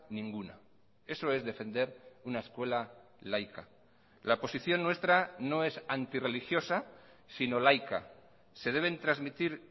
ninguna eso es defender una escuela laica la posición nuestra no es antirreligiosa sino laica se deben transmitir